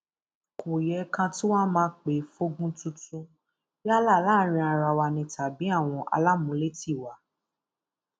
kò yẹ ká tún wáá máa pè fógun tuntun yálà láàrin ara wa ni tàbí àwọn alámùlétí wa